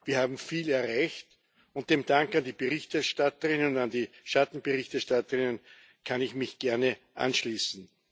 Wir haben viel erreicht, und dem Dank an die Berichterstatterin und an die Schattenberichterstatterinnen kann ich mich gerne anschließen.